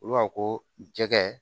Olu b'a fɔ ko jɛgɛ